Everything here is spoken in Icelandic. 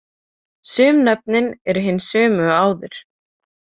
Sum nöfnin eru hin sömu og áður.